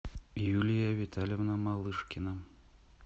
юлия витальевна малышкина